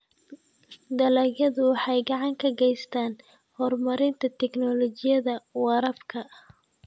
Dalagyadu waxay gacan ka geystaan ??horumarinta tignoolajiyada waraabka.